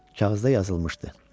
Kağızda yazılmışdı: